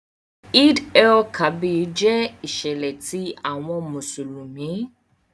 Eid-el-Kabir jẹ iṣẹlẹ ti awọn Musulumi.